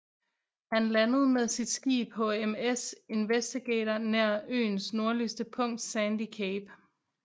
Han landede med sit skib HMS Investigator nær øens nordligste punkt Sandy Cape